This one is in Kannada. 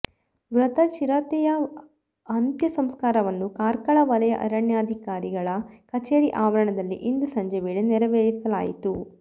ಮೃತ ಚಿರತೆಯ ಅಂತ್ಯ ಸಂಸ್ಕಾರವನ್ನು ಕಾರ್ಕಳ ವಲಯ ಅರಣ್ಯಾಧಿಕಾರಿ ಗಳ ಕಚೇರಿ ಆವರಣದಲ್ಲಿ ಇಂದು ಸಂಜೆ ವೇಳೆ ನೆರವೇರಿಸಲಾಯಿತು